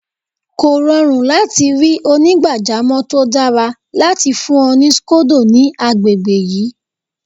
Kò rọrùn láti ri onígbàjamọ̀ tó dára láti fún ọ ní scodo ní agbègbè yìí.